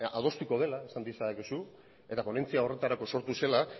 adostuko dela esan diezadakezu eta ponentzia horretarako sortu zela